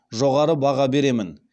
жоғары баға беремін